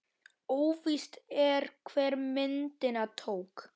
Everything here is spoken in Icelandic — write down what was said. Óvíst er, hver myndina tók.